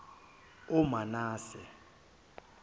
omanase